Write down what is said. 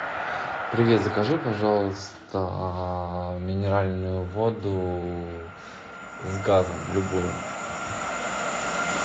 привет закажи пожалуйста минеральную воду с газом любую